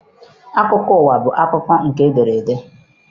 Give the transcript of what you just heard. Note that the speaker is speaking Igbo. Akwụkwọ akụkọ ụwa bụ akụkọ nke edere ede.